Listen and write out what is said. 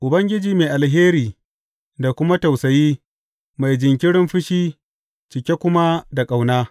Ubangiji mai alheri da kuma tausayi, mai jinkirin fushi cike kuma da ƙauna.